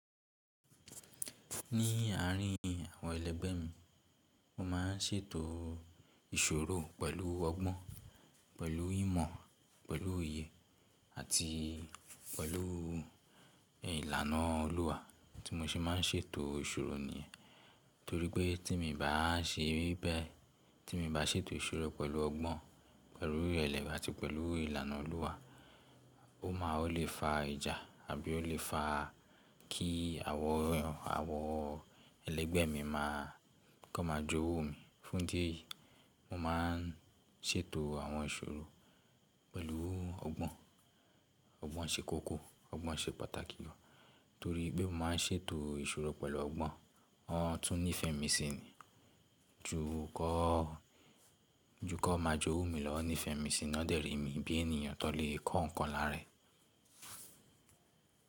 Ní àárín àwọn ẹlẹ́gbẹ́ mi, mo máa ń ṣètò ìṣòro pẹ̀lú ọgbọ́n, pẹ̀lú ìmọ̀, pẹ̀lú òye àti pẹ̀lú ìlànà Olúwa tí mo ṣe máa ń ṣètò ìṣòro nìyẹn. Torí pé tí mo bá ṣe bẹ́ẹ̀, tí mo bá ṣètò ìṣòro pẹ̀lú ọgbọ́n, pẹ̀lú ìrẹlẹ àti pẹ̀lú ìlànà Olúwa, ó máa ó lè fa ìjà àbí ó lè fa kí àwọn, àwọn ẹlẹ́gbẹ́ mi má a kó máa jówú mi. Fún idí èyìí mo máa ń ṣètò àwọn ìṣòro pẹ̀lú ọgbọ́n, ọgbọ́n ṣe kókó, ọgbọ́n ṣe pàtàkì gan. Torí pé mo máa ń ṣètò ìṣòro pẹ̀lú ọgbọ́n, wọ́n tún nífẹ̀ẹ́ mi sí ni. Ju kọ́, ju kọ́ máa jówú mi lọ, wọ́n nífẹ̀ẹ́ mi sí ni. Wọ́n dẹ̀ ri mi bí ènìyàn tó lè kó nǹkan lára ẹ̀.